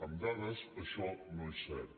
amb dades això no és cert